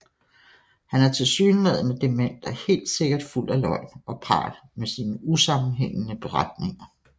Han er tilsyneladende dement og helt sikkert fuld af løgn og pral med sine usammenhængende beretninger